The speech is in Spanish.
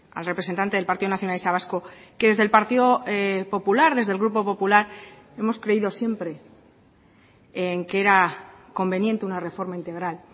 al representante del partido nacionalista vasco que desde el partido popular desde el grupo popular hemos creído siempre en que era conveniente una reforma integral